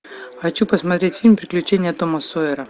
хочу посмотреть фильм приключения тома сойера